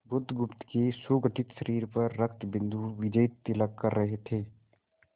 बुधगुप्त के सुगठित शरीर पर रक्तबिंदु विजयतिलक कर रहे थे